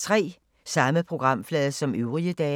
Samme programflade som øvrige dage